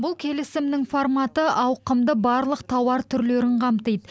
бұл келісімнің форматы ауқымды барлық тауар түрлерін қамтиды